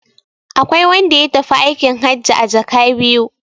Akwai wanda ya tafi aikin hajji a jaka biyu.